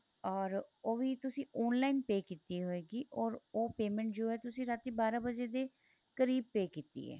or ਉਹ ਵੀ ਤੁਸੀਂ online pay ਕੀਤੀ ਹੋਏਗੀ or ਉਹ payment ਜੋ ਹੈ ਤੁਸੀਂ ਰਾਤੀ ਬਾਰਾਂ ਵਜੇ ਦੇ ਕਰੀਬ pay ਕੀਤੀ ਏ